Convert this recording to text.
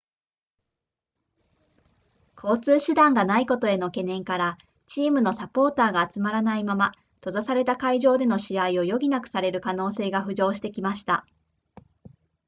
交通手段がないことへの懸念からチームのサポーターが集まらないまま閉ざされた会場での試合を余儀なくされる可能性が浮上してきました